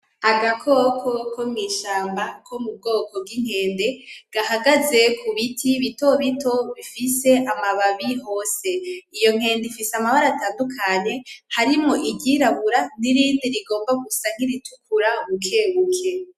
Agakoko ko mwishamba ko m'ubwoko bw'Inkende gahagaze kubiti bitobito bifise amababi hose. Iyo nkende ifise amabara atandukanye harimwo iryirabura, nirindi rishaka gusa niritukura bukebuke.